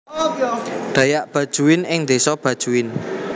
Dayak Bajuin ing desa Bajuin